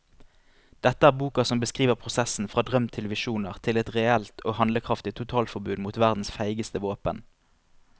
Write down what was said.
Dette er boka som beskriver prosessen fra drøm til visjoner til et reelt og handlekraftig totalforbud mot verdens feigeste våpen.